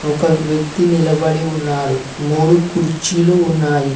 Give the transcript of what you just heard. ఒక వ్యక్తి నిలబడి ఉన్నాడు మూడు కుర్చీలు ఉన్నాయి.